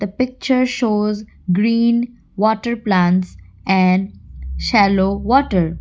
pictures shows green water plants and yellow water.